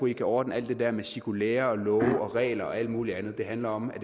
i kan ordne alt det der med cirkulærer love regler og alt muligt andet det handler om at